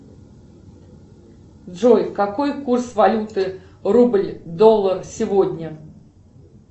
джой какой курс валюты рубль доллар сегодня